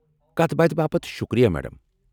كتھ باتھہِ باپت شُکریہ، میڈم۔